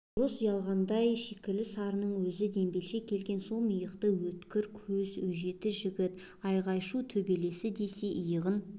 орыс ұялғандай шикілі сарының өзі дембелше келген сом иықты өткір көз өжеті жігіт айғай-шу төбелесі десе иығын